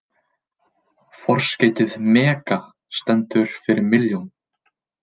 Forskeytið mega stendur fyrir milljón.